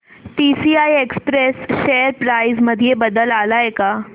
TCI express share price मध्ये बदल आलाय का